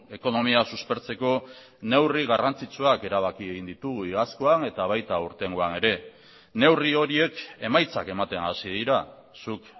ekonomia suspertzeko neurri garrantzitsuak erabaki egin ditugu iazkoan eta baita aurtengoan ere neurri horiek emaitzak ematen hasi dira zuk